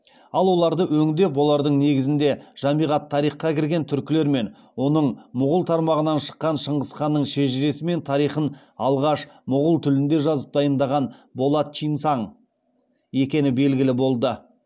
ал оларды өндеп олардың негізінде жамиғ ат тарихқа кірген түркілер мен оның мұғул тармағынан шыққан шыңғыс ханның шежіресі мен тарихын алғаш мұғул тілінде жазып дайындаған болат чинсаң екені белгілі болды